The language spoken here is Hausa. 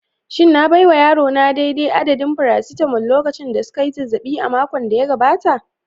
Shin na baiwa yarona daidai adadin "paracetamol" lokacin da suka yi zazzabi a makon da ya gabata?